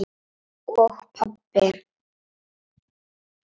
Og pabbi!